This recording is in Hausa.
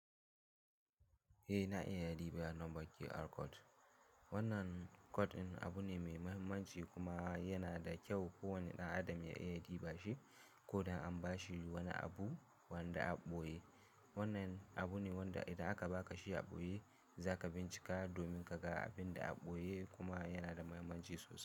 Eh na iya dibiya nombaƙi QR code. Wannan code din abu ne mai mahimmanci kuma yana da kyau kowane ɗan adam ya iya dibashi, ko don an bashi wani abu wanda a ɓoye. Wannan abu ne wanda idan aka baka shi a ɓoye za ka bincika domin ka ga abin da a ɓoye kuma yana da mahimmanci sosai.